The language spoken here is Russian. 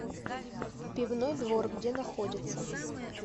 пивной двор где находится